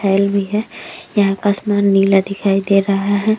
है। यहाँ आसमान नीला दिखाई दे रहा है।